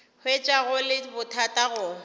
hwetša go le bothata go